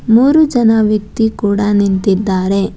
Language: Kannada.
ಮೂರು ಜನ ವ್ಯಕ್ತಿ ಕೂಡ ನಿಂತಿದ್ದಾರೆ.